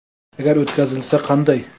Agar o‘tkazilsa, qanday?.